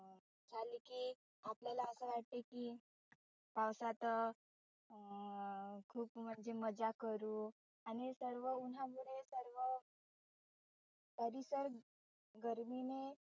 आपल्याला असं वाटत की पावसात अं खुप म्हणजे मजा करु आणि सर्व उन्हामुळे सर्व परिसर गर्मीने